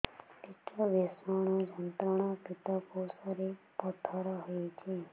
ପେଟ ଭୀଷଣ ଯନ୍ତ୍ରଣା ପିତକୋଷ ରେ ପଥର ହେଇଚି